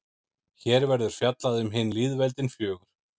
hér verður fjallað um hin lýðveldin fjögur